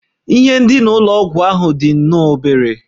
Ihe ndina ụlọ ọgwụ ahụ dị nnọọ obere